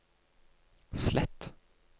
slett